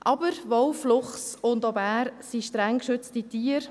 Aber: Wolf, Luchs und Bär sind streng geschützte Tiere.